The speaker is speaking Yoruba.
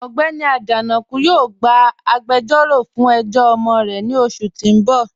Ọgbẹ́ni Ajanaku yóò gbà àgbèjọ̀ró fún ẹ̀jọ̀ ọmọ rẹ̀ ní oṣù tí n bọ̀.